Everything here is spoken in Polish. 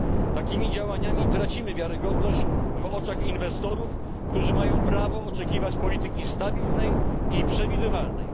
Prowadząc takie działania tracimy wiarygodność w oczach inwestorów, którzy mają prawo oczekiwać polityki stabilnej i przewidywalnej.